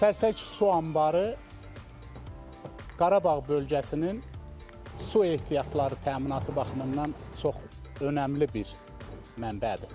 Sərsəng su anbarı Qarabağ bölgəsinin su ehtiyatları təminatı baxımından çox önəmli bir mənbədir.